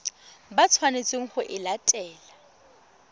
ba tshwanetseng go e latela